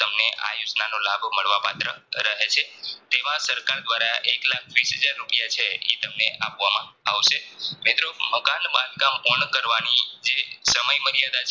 તેમાં સરકાર દ્વારા એક લાખ વિસ હાજર રૂપિયા છે ઈ તમને આપવામાં આવશે મિત્રો મકાન બાંધકામ પૂર્ણ કરવાની જે સમય મર્યાદા છે